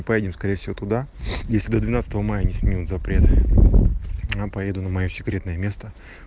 поедем скорее всего туда если до двенадцатого мая не снимут запрет а поеду на моё секретное место